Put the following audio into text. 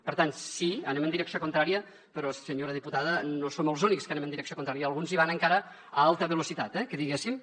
per tant sí anem en direcció contrària però senyora diputada no som els únics que anem en direcció contrària i alguns hi van encara a alta velocitat eh diguéssim